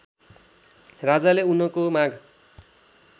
राजाले उनको माग